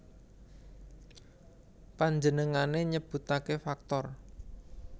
Panjenengané nyebutaké faktor